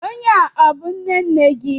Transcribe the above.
Onye a, ọ bú nnenne gị?